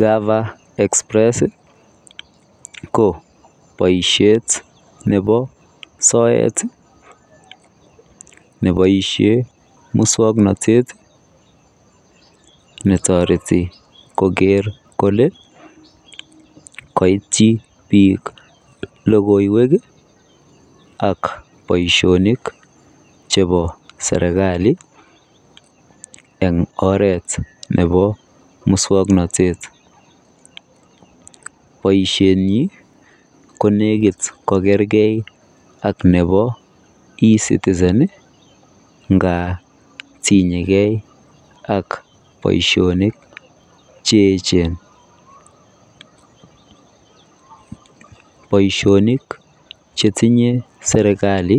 Gava express ko baishet Nebo soet nebaishen muswaknatet netareti Koger Kole kaitui bik logoiwek ak Baishonik chebo serikali en oret Nebo muswaknatet baishenyin konekit kogergeit ak Nebo e citizen ngatinye gei ak Baishonik cheyechen chetinye serikali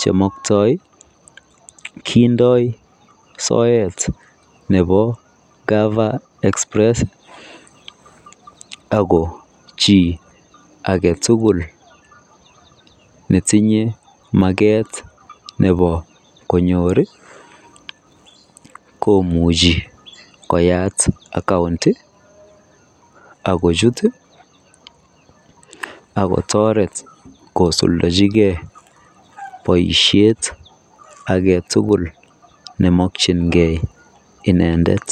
chumuktai kindoi soyet Nebo gava express ako chi agetugul netinye maket Nebo konyor koimuchi koyat account akochut akotaret kosuldechi gei baishet agetugul chemakingei inendet